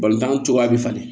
Balontan cogoya bɛ falen